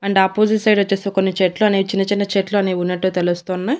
And opposite side వచ్చేసి కొన్ని చెట్లు అనే చిన్న చిన్న చెట్లు అనేవి ఉన్నట్టు తెలుస్తున్నాయ్.